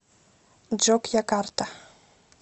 джокьякарта